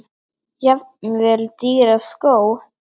Jafnvel dýra skó?